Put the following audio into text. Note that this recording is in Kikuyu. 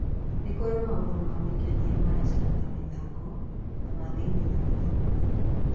Nĩ kũrĩ maũndũ ma gwĩkenia ma nja ta mathako, na ma thĩinĩ ta gũthoma mabuku.